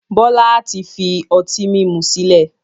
Bọlá tí fi ọtí mímú sìlẹ̀